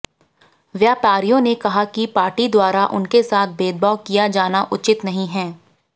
व्यापारियों ने कहा कि पार्टी द्वारा उनके साथ भेदभाव किया जाना उचित नहीं है